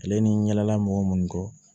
Ale ni n ɲɛla mɔgɔ munnu kɔ